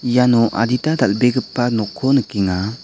iano adita dal·begipa nokko nikenga.